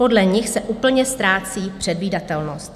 Podle nich se úplně ztrácí předvídatelnost.